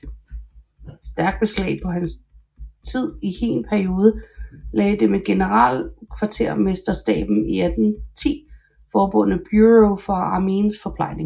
Stærkt beslag på hans tid i hin periode lagde det med generalkvartermesterstaben i 1810 forbundne Bureau for armeens forplejning